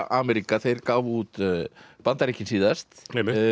Ameríka þeir gáfu út Bandaríkin síðast